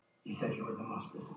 Nei, ekki eingöngu.